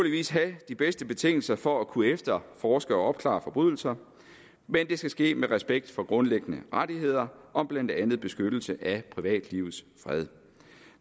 have de bedste betingelser for at kunne efterforske og opklare forbrydelser men det skal ske med respekt for grundlæggende rettigheder om blandt andet beskyttelse af privatlivets fred